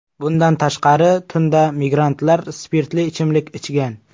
Bundan tashqari, tunda migrantlar spirtli ichimlik ichgan.